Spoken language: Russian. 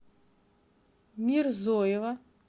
мирзоева